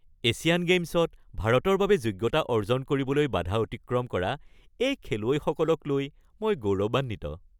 Asian গেইমছত ভাৰতৰ বাবে যোগ্যতা অৰ্জন কৰিবলৈ বাধা অতিক্ৰম কৰা এই খেলুৱৈসকলক লৈ মই গৌৰৱান্বিত।